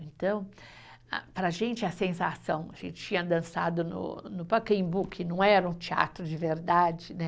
Então, ah para a gente, a sensação, a gente tinha dançado no no Pacaembu, que não era um teatro de verdade, né?